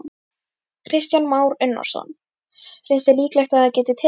Kristján Már Unnarsson: Finnst þér líklegt að það geti tekist?